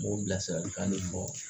N b'o bilasirali kan di mɔ